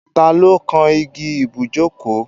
Ta ló kán igi ibùjókòó?